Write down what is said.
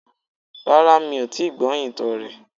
Rárá mi ò tíì gbọ́ ìtàn rè